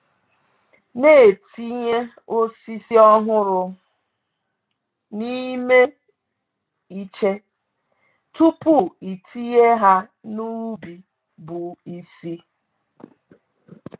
Na-etinye osisi ọhụrụ n’ime iche tupu itinye ha n’ubi bụ isi